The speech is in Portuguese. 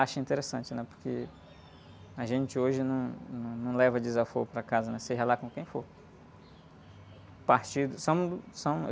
interessante, né? Porque a gente hoje num, num, não leva desaforo para casa, seja lá com quem for. Partido, são, são..